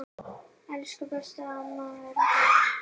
Elsku besta amma Erla.